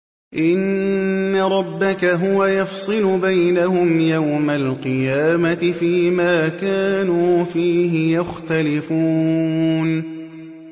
إِنَّ رَبَّكَ هُوَ يَفْصِلُ بَيْنَهُمْ يَوْمَ الْقِيَامَةِ فِيمَا كَانُوا فِيهِ يَخْتَلِفُونَ